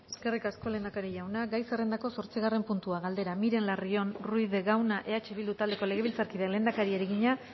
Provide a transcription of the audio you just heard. eskerrik asko lehendakari jauna gai zerrendako zortzigarren puntua galdera miren larrion ruiz de gauna eh bildu taldeko legebiltzarkideak lehendakariari egina